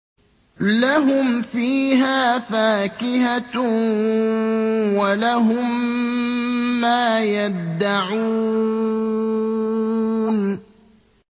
لَهُمْ فِيهَا فَاكِهَةٌ وَلَهُم مَّا يَدَّعُونَ